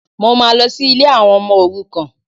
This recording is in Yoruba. Mo máa lọ sí ilé àwọn ọmọ òrukàn